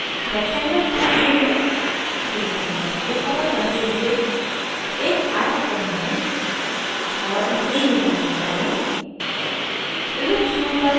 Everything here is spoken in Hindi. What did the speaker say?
rectangle tool tool चुनें पूरे canvas को color करते हुए एक आयत बनाएं और इसे नीला रंग करें